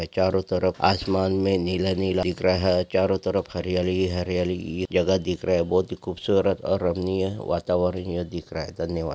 चारो तरफ आसमान मे नीला-नीला दिख रहा चारो तरफ हरियाली ही हरियाली जगह दिख रहा है बहोत ही खूप सूरत और रमनीय यह वातावरण यह दिख रहा है धन्यवाद।